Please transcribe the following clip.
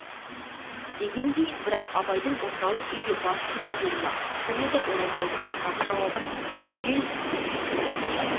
дегендей бірақ абайдың орталық үйге бас сұға беру-ақ сол еді оразбайдың жаңағы жауабын түгел естпболған ояз